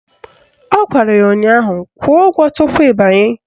Ọ gwara ya ụnyaahụ "Kwụọ ụgwọ tupu ị banye"!